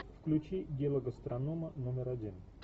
включи дело гастронома номер один